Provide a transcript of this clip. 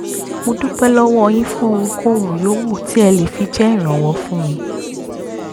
mo dúpẹ́ lọ́wọ́ yín fún ohunkóhun yòówù tí ẹ lè fi jẹ́ ìrànwọ́ fún mi